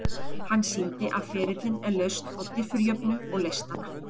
Hann sýndi að ferillinn er lausn á diffurjöfnu og leysti hana.